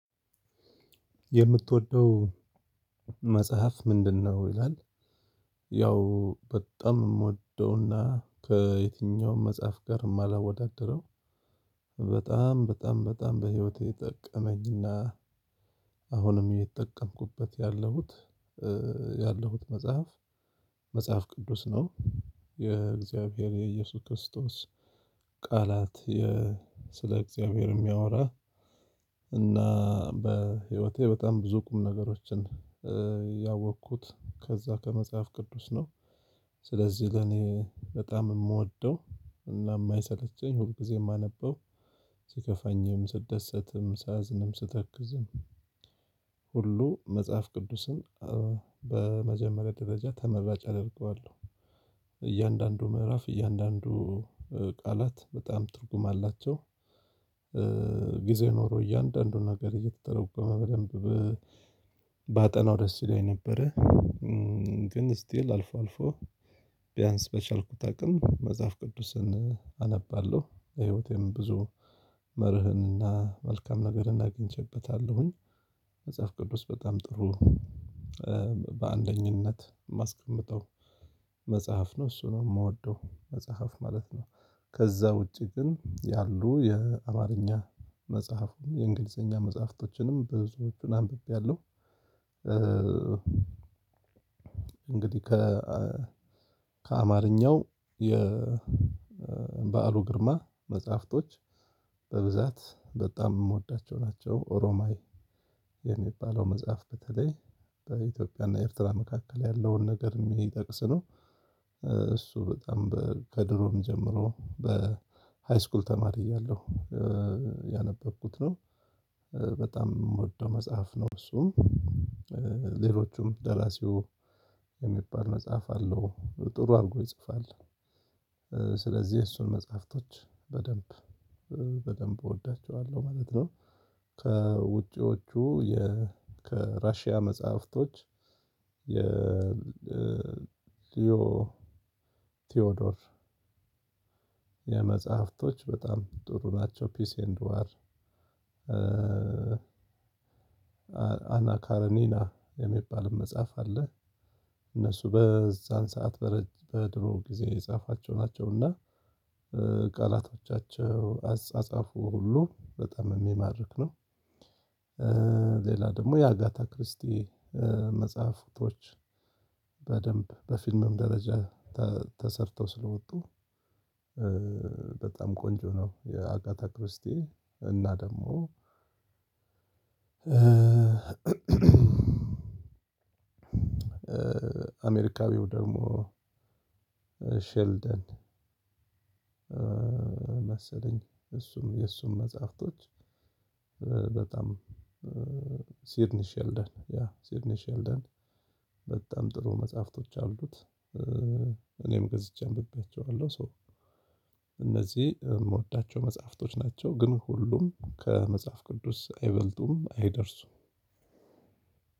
የምትወደው መጽሐፍ ምንድነው? ይላል ያው በጣም የምወደውና ከየትኛውም መጽሐፍ ጋር የማላወዳድረው በጣም በጣም በጣም በህይወቴ የጠቀመኝና አሁንም እየተጠቀምኩበት ያለሁት መጽሐፍ። መጽሐፍ ቅዱስ ነው። የእግዚአብሔር የኢየሱስ ክርስቶስ ቃላት። ስለ እግዚአብሔር የሚያወራ እና በህይወቴ በጣም ብዙ ቁም ነገሮችን ያወቅኩት ከዛ ከመጽሐፍ ቅዱስ ነው። ስለዚህ ለኔ በጣም የምወደው እና የማይሰለቸኝ ሁልጊዜ ማነበው ሲከፋኝም ስደሰትም ሳዝንም ስተክዝም ሁሉ መጽሐፍ ቅዱስን በመጀመሪያ ደረጃ ተመራጭ አደርገዋለሁ። እያንዳንዱ ምዕራፍ እያንዳንዱ ቃላት በጣም ትርጉም አላቸው። ጊዜ ኖሮ እያንዳንዱን ነገር እየተተረጎመ በደንብ ባጠናው ደስ ይለኝ ነበረ። ግን ስቲል አልፎ አልፎ ቢያንስ በቻልኩት አቅም መጽሐፍ ቅዱስን አነባለሁ ለህይወቴም ብዙ መርህንና መልካም ነገርን አግኝቼበታለሁኝ። መጽሐፍ ቅዱስ በጣም ጥሩ በአንደኝነት ማስቀምጠው መጽሐፍ ነው እሱ ነው የምወደው መጽሐፍ ማለት ነው። ከዛ ውጪ ግን ያሉ የአማረኛ መጽሐፉን የእንግሊዘኛ መጽሐፍቶችንም ብዙዎቹን አንብቤያለሁ። እንግዲህ ከአማረኛው የበአሉ ግርማ መጽሐፍቶች በብዛት በጣም የምወዳቸው ናቸው። ኦሮማይ የሚባለው መጽሐፍ በተለይ በኢትዮጵያና ኤርትራ መካከል ያለውን ነገር የሚጠቅስ ነው። እሱ በጣም ከድሮም ጀምሮ በሃይስኩል ተማሪ እያለሁ ያነበብኩት ነው። በጣም የምወደው መጽሐፍ ነው እሱም። ሌሎቹም ደራሲው የሚባል መጽሐፍ አለው ጥሩ አድርጎ ይጽፋል። ስለዚህ እሱን መጽሐፍቶች በደንብ በደንብ እወዳቸዋለሁ ማለት ነው። ከውጪዎቹ የ ከራሺያ መጽሐፍቶች የሊዮ ቲዎዶር የመጽሐፍቶች በጣም ጥሩ ናቸው ፒስ ኤንድ ዋር። አና ካረኔና የሚባልም መጽሐፍ አለ። እነሱ በዛን ሰዓት በድሮ ጊዜ የጻፏቸው ናቸውና ቃላቶቻቸው አጻጻፉ ሁሉ በጣም የሚማርክ ነው። ሌላ ደግሞ የአጋታ ክርስቲ መጽሐፍቶች በደንብ በፊልምም ደረጃ ተሰርተው ስለወጡ። በጣም ቆንጆ ነው። የአጋታ ክርስቲ እና ደግሞ። አሜሪካዊው ደግሞ ሸልደን መሰለኝ እሱም የእሱም መጽሐፍቶች በጣም ሲድኒሽ የልደን ያ ሲድኒሽ የልደን በጣም ጥሩ መጽሐፍቶች አሉት። እኔም ገዝቼ አንብቤያቸዋለሁ ሶ እነዚህ የምወዳቸው መጽሐፍቶች ናቸው። ግን ሁሉም ከመጽሐፍ ቅዱስ አይበልጡም አይደርሱም።